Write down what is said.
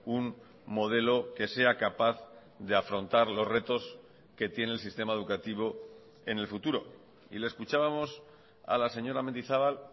un modelo que sea capaz de afrontar los retos que tiene el sistema educativo en el futuro y le escuchábamos a la señora mendizabal